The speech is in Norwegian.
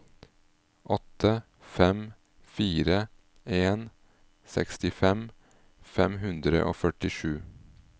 åtte fem fire en sekstifem fem hundre og førtisju